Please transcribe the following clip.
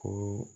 Ko